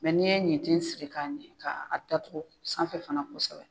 n'i ye ɲintin siri k'a ɲɛ ka a datugu sanfɛ fana kɔsɛbɛ.